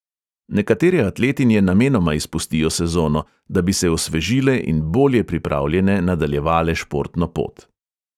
Nekatere atletinje namenoma izpustijo sezono, da bi se osvežile in bolje pripravljene nadaljevale športno pot.